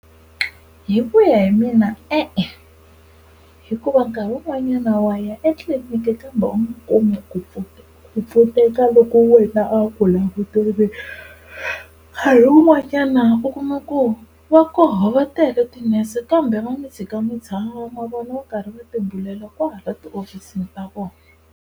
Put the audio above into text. Hi ku ya hi mina e-e hikuva nkarhi wun'wanyana waya etliliniki kambe u nga kumi ku pfuneka, ku pfuneka loko wena a wu ku languterile. Nkarhi wun'wanyana u kuma ku va koho va tele ti-nurse kambe va mi tshika mi tshama na vona va karhi va tibulela kwale tihofisini ta kona.